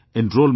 Enrolment